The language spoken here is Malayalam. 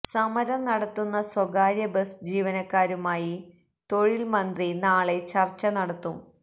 സമരം നടത്തുന്ന സ്വകാര്യ ബസ് ജീവനക്കാരുമായി തൊഴില്മന്ത്രി നാളെ ചര്ച്ച നടത്തും